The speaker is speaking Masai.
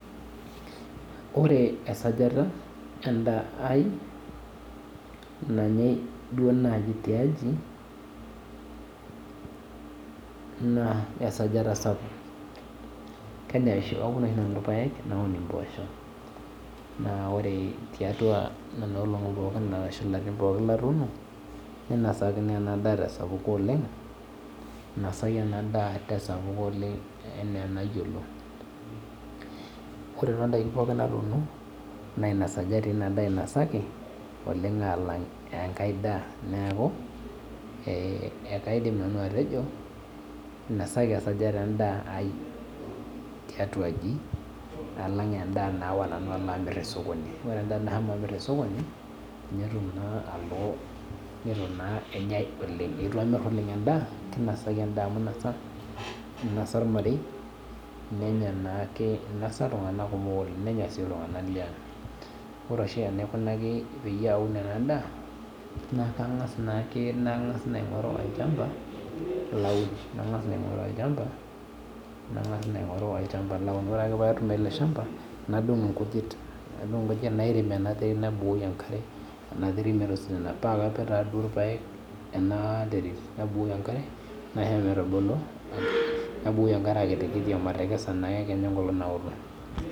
Wore esajata endaa ai nanyai duo naaji tiaji, naa esajata sapuk, aun oshi nanu irpaek naun impoosho, naa wore tiatua niana olongi pookin arashu lelo arin pookin latuuno, ninosaki inadaa tesapuko oleng', inasaki ina daa tesapuko oleng' enaa enayiolo. Wore tondaikin pookin natuuno naa inasajati ina daa inasaki oleng' aalang enkae daa, neeku ekaidim nanu atejo, inosaki esajata endaa ai tiatua aji alang endaa naawa nanu alo amirr tosokoni. Wore endaa nashomo amir tosokoni, nitu naa enyae oleng', itu amir oleng' endaa kinosaki endaah amu inosa, inosa olmarei, nenya naake inosa iltunganak kumok oleng' nenya sii iltunganak liang. Wore oshi enaikunaki peyie aun ena daa, naa kangas naake nangas aingorru olchamba laun, nangas naa aingorru olchamba laun, wore ake pee atum ele shamba, nadung inkujit nairem ena terit nabukoki enkare ena terit metisidana paakapik taaduo irpaek ena terit, nabukoki enkare, naisho metubulu, nabukoki enkare akitikiti omatekesa naake kenya enkolong' naoto.